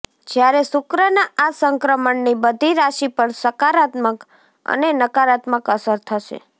જ્યારે શુક્રના આ સંક્રમણની બધી રાશિ પર સકારાત્મક અને નકારાત્મક અસર થશે